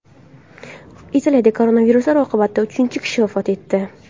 Italiyada koronavirus oqibatida uchinchi kishi vafot etdi.